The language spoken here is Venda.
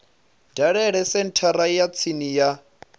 dalele senthara ya tsini ya